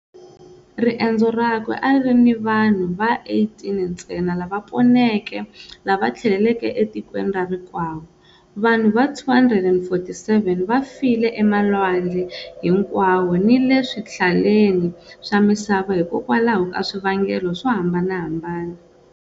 Riendzo rakwe a ri ri ni vanhu va 18 ntsena lava poneke lava tlheleleke etikweni ra rikwavo. Vanhu va 247 va file emalwandle hinkwawo ni le swihlaleni swa misava hikwalaho ka swivangelo swo hambanahambana.